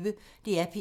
DR P1